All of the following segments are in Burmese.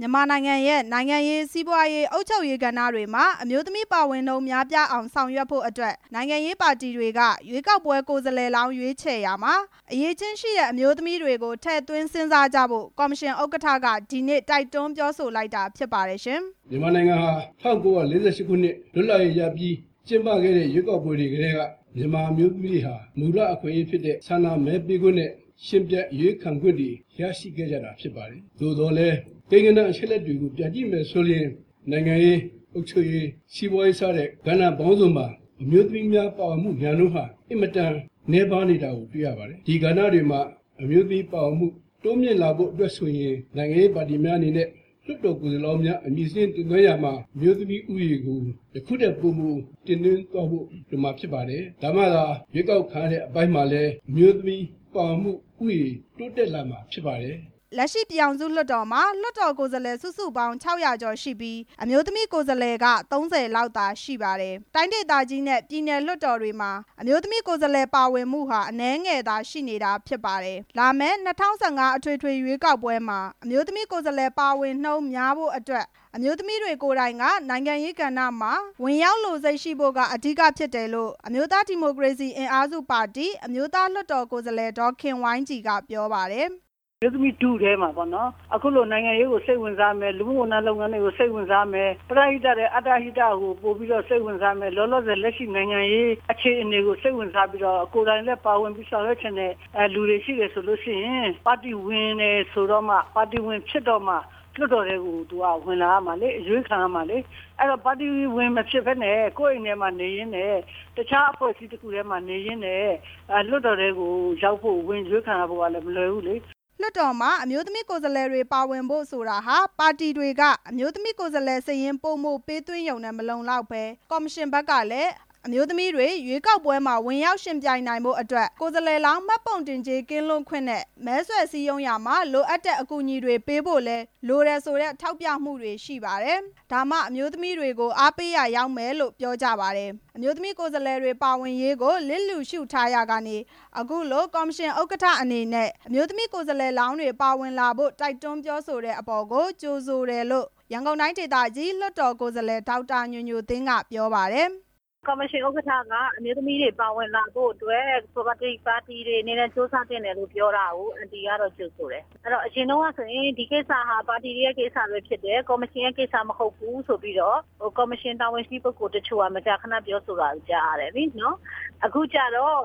မြန်မာနိုင်ငံရဲ့ နိုင်ငံရေး၊ စီးပွားရေး၊ အုပ်ချုပ်ရေး ကဏ္ဍတွေမှာ အမျိုးသမီးတွေပါဝင်မှု နည်းပါးနေပြီး အမျိုးသမီး ပါဝင်နှုန်းများပြားအောင် ဆောင်ရွက်ဖို့အတွက် နိုင်ငံရေးပါတီတွေက ရွေးကောက်ပွဲ ကိုယ်စားလှယ်လောင်း ရွေး ချယ်ရာမှာ အရည်အချင်းရှိတဲ့ အမျိုးသမီးတွေကို ထည့်သွင်းစဉ်းစားကြဖို့ ကော်မရှင်ဥက္ကဌက ဒီနေ့ တိုက်တွန်းပြော လိုက်တာ ဖြစ်ပါတယ်။ ဦးတင်အေး။ ။မြန်မာနိုင်ငံဟာ ၁၉၄၈ ခုနှစ်လွတ်လပ်ရေးရပြီး ကျင်းပခဲ့တဲ့ ရွေးကောက်ပွဲတွေကတည်း က မြန်မာအမျိုးသမီးတွေဟာ မူလအခွင့်အရေးဖြစ်တဲ့ ဆန္ဒမဲပေးခွင့်နဲ့ ယှဉ်ပြိုင်အရွေးခံခွင့်တွေ ရရှိခဲ့ကြတာဖြစ် ပါတယ်၊ သို့သော်လည်း အချက်အလက်တွေကို ပြန်ကြည့်မယ်ဆိုရင် နိုင်ငံရေး၊ အုပ်ချုပ်ရေး၊ စီးပွားရေး စတဲ့ ကဏ္ဍပေါင်းစုံမှာ အမျိုးသမီးများ ပါဝင်မှုရာနှုန်းဟာ အင်မတန်နည်းပါးနေတာ တွေ့ရပါတယ်၊ ဒီကဏ္ဍတွေမှာ အမျိုးသမီးပါဝင်လာမှု တိုးမြှင့်လာဖို့အတွက်ဆိုရင် နိုင်ငံရေးပါတီများအနေနဲ့ လွှတ်တော်ကိုယ်စားလှယ်လောင်း အမည်စာရင်းတင်သွင်းရာမှာ အမျိုးသမီးဦးရေးကို ယခုထက်ပိုမို တင်သွင်းသွားဖို့ဆိုတာဖြစ်ပါတယ်၊ ဒါမှသာ ရွေးကောက်ခံရတဲ့အပိုင်းမှာလည်း အမျိုးသမီးပါဝင်မှု ဦးရေးတိုးတက်လာမှာဖြစ်ပါတယ်။ လက်ရှိပြည်ထောင်စုလွှတ်တော်မှာ လွှတ်တော်ကိုယ်စားလှယ် ၆ဝဝ ကျော်ရှိပြီး အမျိုးသမီး ကိုယ်စားလှယ်ဟာ ၃ဝ ခန့် သာရှိပါတယ်။ တိုင်းဒေသကြီးနဲ့ ပြည်နယ်လွှတ်တော်တွေမှာ အမျိုးသမီး ကိုယ်စားလှယ်ပါဝင်မှုဟာ အနည်း ငယ်သာရှိနေတာဖြစ်ပါတယ်။ လာမယ့် ၂ဝ၁၅ ရွေးကောက်ပွဲမှာ အမျိုးသမီးကိုယ်စားလှယ် ပါဝင်နှုန်းများပြားလာဖို့အတွက် အမျိုးသမီးတွေကိုယ် တိုင်က နိုင်ငံရေးကဏ္ဍတွေမှာ ဝင်ရောက်လိုစိတ်ရှိဖို့က အဓိကဖြစ်တယ်လို့ အမျိုးသား ဒီမိုကရေစီ အင်အားစု ပါတီက အမျိုးသားလွှတ်တော်ကိုယ်စားလှယ် ဒေါ်ခင်ဝိုင်းကြည်က ပြောပါတယ်။ ဒေါ်ခင်ဝိုင်းကြည်။ ။အမျိုးသမီးထုထဲမှာပေါ့နော် အခုလိုနိုင်ငံရေးကို စိတ်ဝင်စားမယ်၊ လူမှုဝန်ထမ်း လုပ်ငန်းတွေကို စိတ်ဝင်စားမယ်၊ ပရဟိတထက် အတ္တဟိတကို ပိုပြီးတော့စိတ်ဝင်စားမယ်၊ လောလောဆယ် လက်ရှိ နိုင်ငံရေးအခြေအနေကို စိတ်ဝင်စားပြီးတော့ ကိုယ်တိုင်လည်းပါဝင်ပြီး ဆောင်ရွက်ချင်တဲ့လူတွေရှိရင် ပါတီဝင်တယ်ဆိုတော့မှ ပါတီဝင်ဖြစ်တော့မှ လွှတ်တော်ထဲကို ဝင်လာရမှာလေ၊ အရွေးခံရမှာလေ၊ အဲ့ဒီတော့ ပါတီဝင်မဖြစ်ပဲနဲ့ ကိုယ့်အိမ်ထဲမှာနေရင်းနဲ့ တခြားအဖွဲ့အစည်း တစ်ခုတည်းမှာနေရင်းနဲ့ လွှတ်တော်ထဲကိုရောက်ဖို့ ဝင်အရွေးခံရဖို့ကလည်း မလွယ်ဘူးလေ။ လွှတ်တော်တွေမှာ အမျိုးသမီးကိုယ်စားလှယ်လောင်းတွေ ပါဝင်လာဖို့ဆိုတာဟာ ပါတီတွေက အမျိုးသမီး ကိုယ်စား လှယ်စာရင်း ပိုမိုပေးသွင်းရုံနဲ့ မလုံလောက်ပဲ ကော်မရှင်ဘက်ကလည်း အမျိုးသမီးတွေ ရွေးကောက်ပွဲဝင်ရောက် ယှဉ်ပြိုင်နိုင်ဖို့အတွက် ကိုယ်စားလှယ်လောင်း မှတ်ပုံတင်ကြေး ကင်းလွတ်ခွင့်၊ မဲဆွယ်စည်းရုံးရာမှာလိုအပ်တဲ့ အကူအညီပေးတာတွေ ပေးဖို့လည်း လိုအပ်တယ်ဆိုတဲ့ ထောက်ပြမှုတွေလည်းရှိပါတယ်။ ဒါမှ အမျိုးသမီးတွေကို အားပေးရာရောက်မယ်လို့လည်း ပြောကြပါတယ်။ အမျိုးသမီးကိုယ်စားလှယ်တွေ ပါဝင်ရေးကို လျစ်လျူရှူထားရာကနေ အခုလိုကော်မရှင် ဥက္ကဌ အနေနဲ့ အမျိုးသမီး ကိုယ်စားလှယ်လောင်းတွေ ပါဝင်လာဖို့တိုက်တွန်း ပြောဆိုတဲ့အပေါ်ကို ကြိုဆိုတယ်လို့ ရန်ကုန်တိုင်းဒေသကြီး လွှတ်တော်ကိုယ်စားလှယ် ဒေါက်တာညိုညိုသင်းက ပြောပါတယ်။ ဒေါက်တာညိုညိုသင်း။ ။ကော်မရှင်ဥက္ကဌက အမျိုးသမီးတွေပါဝင်လာဖို့အတွက် ပါတီတွေအနေနဲ့ ကြိုးစား သင့်တယ်လို့ပြောတာကို အန်တီကတော့ ကြိုဆိုတယ်၊ အရင်တုန်းကဆိုရင် ဒီကိစ္စဟာ ပါတီတွေရဲ့ကိစ္စပဲဖြစ်တယ် ၊ ကော်မရှင်ရဲ့ကိစ္စ မဟုတ်ဘူးဆိုပြီးတော့ ကော်မရှင်တာဝန်ရှိ ပဂ္ဂိုလ်အချို့က မကြာခဏပြောဆိုတာတွေ ကြားရ တယ်လေ၊ အခုကျတော်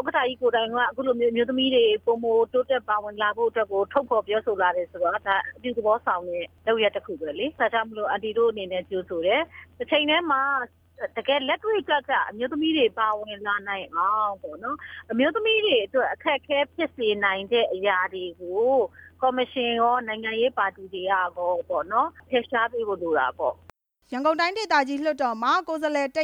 ဥက္ကဌကြီး ကိုယ်တိုင်ကိုက အခုလိုမျိုးအမျိုးသမီးတွေ ပိုမိုတိုးတက် ပါဝင်လာနိုင်ဖို့အတွက် ကို ထုတ်ဖော်ပြောဆိုလာတယ်ဆိုတော့ အဲ့ဒါကအပြုသဘောဆောင်တဲ့ လုပ်ရပ်တစ်ခုပဲလေ၊ အဲ့ဒီတော့ အန်တီ တို့အနေနဲ့ ကြိုဆိုတယ်၊ တစ်ချိန်တည်းမှာ တကယ်လက်တွေ့ကျကျ အမျိုးသမီးတွေ ပါဝင်လာနိုင်အောင်ဆိုရင် အမျိုးသမီးတွေအတွက် အခက်အခဲဖြစ်စေနိုင်တဲ့အရာတွေကို ကော်မရှင်ရော၊ နိုင်ငံရေးပါတီတွေကရောပေါ့နော် ဖယ်ရှားပေးဖို့လိုတာပေါ့။ ရန်ကုန်တိုင်းဒေသကြီး လွှတ်တော်မှာ ကိုယ်စားလှယ် ၁၂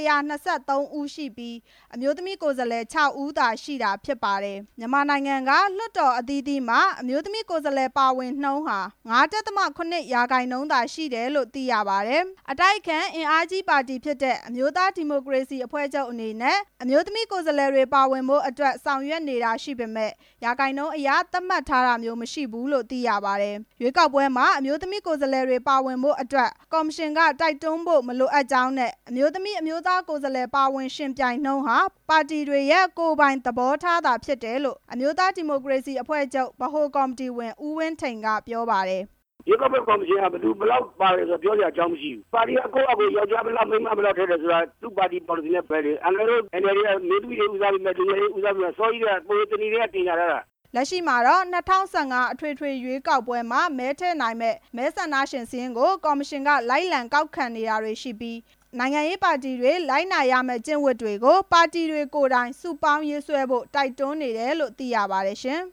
၃ ဦးရှိပြီး အမျိုးသမီးကိုယ်စားလှယ် ၆ ဦးသာရှိတာဖြစ် ပါတယ်။ မြန်မာနိုင်ငံက လွှတ်တော်အသီးသီးမှာ အမျိုးသမီးကိုယ်စားလှယ် ပါဝင်နှုန်းဟာ ၅.၇ ရာခိုင်းနှုန်းသာရှိတယ်လို့ လည်းသိရပါတယ်။ အတိုက်အခံ အင်အားကြီးပါတီဖြစ်တဲ့ အမျိုးသားဒီမိုကရေစီ အဖွဲ့ချုပ်အနေနဲ့ အမျိုးသမီး ကိုယ်စားလှယ်တွေ ပါဝင်ဖို့အတွက် ဆောင်ရွက်နေတာရှိပေမဲ့ ရာခိုင်နှုန်းအရ သတ်မှတ်ထားတာမျိုး မရှိဘူးလို့ သိရပါတယ်။ ရွေးကောက်ပွဲမှာ အမျိုးသမီးလွှတ်တော် ကိုယ်စားလှယ်တွေပါဝင်ဖို့အတွက် ကော်မရှင်က တိုက်တွန်းဖို့ မလို အပ်ကြောင်းနဲ့ အမျိုးသမီး အမျိုးသား ကိုယ်စားလှယ်ပါဝင် ယှဉ်ပြိုင်နှုန်းဟာ ပါတီတွေရဲ့ ကိုယ်ပိုင်သဘောထား သာဖြစ်တယ်လို့ အမျိုးသားဒီမိုကရေစီအဖွဲ့ချုပ် ဗဟိုကော်မတီဝင် ဦးဝင်းထိန် ကပြောပါတယ်။ ဦးဝင်းထိန်။ ။ရွေးကောက်ပွဲကော်မရှင်က ဘယ်သူဘယ်လောက်ပါတယ်ဆိုတာ ပြောစရာအကြောင်း မရှိဘူး၊ ပါတီကကိုယ့်ဟာကိုယ် ယောက်ကျားဘယ်လောက်၊ မိန်းမဘယ်လောက် ထည့်တယ်ဆိုတာ သူ့ပါတီပေါ် လစီနဲ့ဆိုင်တယ်၊ အန်ကယ်လ်တို့ NLD ကအမျိုးသမီတွေကို ဦးစားပေးတာ အစောကြီးကတည်းက ပဝေသဏီ ကတည်းက ကြေညာထားတာ။ လက်ရှိမှာတော့ ၂၀၁၅ အထွေထွေ ရွေးကောက်ပွဲမှာ မဲထည့်နိုင်မယ့် မဲဆန္ဒရှင်စာရင်းတွေကို ကော်မရှင်က လိုက်လံကောက်ခံနေတာတွေရှိပြီး နိုင်ငံရေးပါတီတွေ လိုက်နာရမယ့် ကျင့်ဝတ်တွေကို နိုင်ငံရေးပါတီတွေကိုယ် တိုင် စုပေါင်းရေးဆွဲဖို့ တိုက်တွန်းနေတယ်လို့ သိရပါတယ်ရှင်။